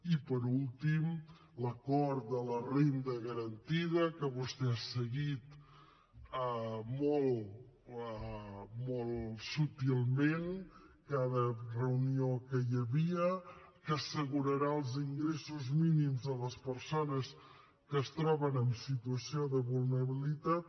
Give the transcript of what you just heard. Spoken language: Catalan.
i finalment l’acord de la renda garantida que vostè n’ha seguit molt subtilment cada reunió que hi havia que assegurarà els ingressos mínims a les persones que es troben en situació de vulnerabilitat